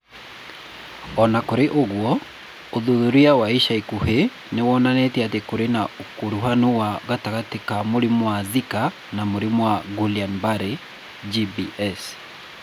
O na kũrĩ ũguo, ũthuthuria wa ica ikuhĩ nĩ wonanĩtie atĩ kũrĩ na ũkuruhanu gatagatĩ ka mũrimũ wa Zika na mũrimũ wa Guillain Barre (GBS).